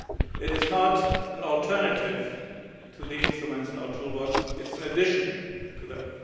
It is not an alternative to the instruments in our toolbox it is an addition to them.